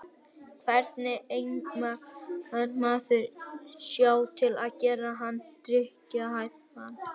Hvernig eimar maður sjó til að gera hann drykkjarhæfan?